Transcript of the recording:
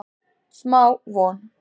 Smá von